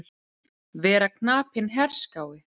Vera knapinn herskái.